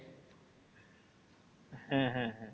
হ্যা হ্যা